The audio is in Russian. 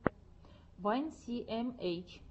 вайн си эм эйч